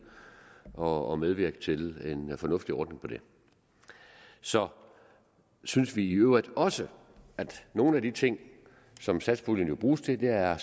og medvirke til en fornuftig ordning på det så synes vi i øvrigt også at nogle af de ting som satspuljen jo bruges til er at